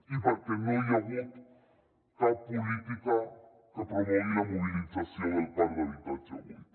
i perquè no hi ha hagut cap política que promogui la mobilització del parc d’habitatge buit